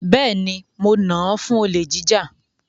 Bẹ́ẹ̀ni, mo nà án fún olè jíjà.